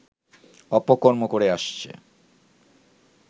অপকর্ম করে আসছে